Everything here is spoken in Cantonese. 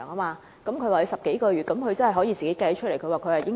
他說有10多個月，這數目真的可以計算出來。